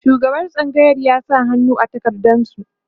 shugaban tsangayar ya sa hannu a takardan su